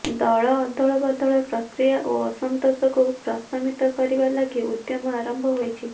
ଦଳ ଅଦଳ ବଦଳ ପ୍ରକ୍ରିୟା ଓ ଅସନ୍ତୋଷକୁ ପ୍ରଶମିତ କରିବା ଲାଗି ଉଦ୍ୟମ ଆରମ୍ଭ ହୋଇଛି